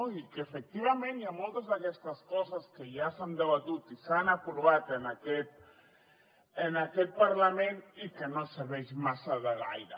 i efectivament hi ha moltes d’aquestes coses que ja s’han debatut i s’han aprovat en aquest parlament i que no serveixen massa de gaire